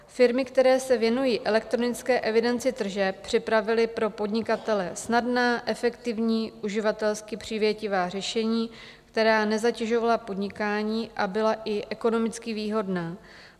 Firmy, které se věnují elektronické evidenci tržeb, připravily pro podnikatele snadná, efektivní, uživatelsky přívětivá řešení, která nezatěžovala podnikání a byla i ekonomicky výhodná.